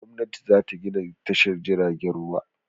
Gwamnati za ta gina tashar jiragen ruwa.